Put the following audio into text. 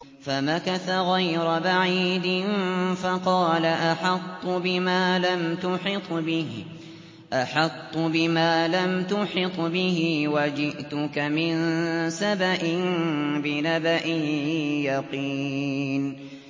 فَمَكَثَ غَيْرَ بَعِيدٍ فَقَالَ أَحَطتُ بِمَا لَمْ تُحِطْ بِهِ وَجِئْتُكَ مِن سَبَإٍ بِنَبَإٍ يَقِينٍ